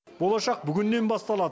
болашақ бүгіннен басталады